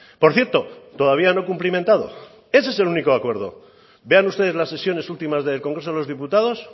por cierto todavía no cumplimentado ese es el único acuerdo vean ustedes las sesiones últimas del congreso de los diputados